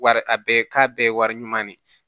Wari a bɛɛ k'a bɛɛ ye wari ɲuman de ye